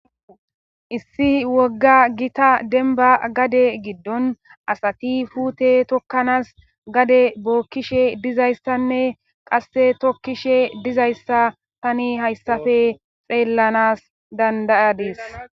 issi wogga gita denba gade giddon asati fute tokkanas gade bookkishe dizayssanne qasse tokkishe dizayssa tani hayssafe xeellanas dandayadis